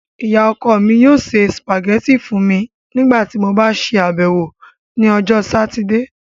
Iya-ọkọ mi yoo se spaghetti fun mi nigbati mo ba ṣabẹwo ni Ọjọ Satidee